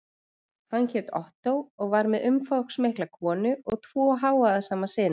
Hann hét Ottó og var með umfangsmikla konu og tvo hávaðasama syni.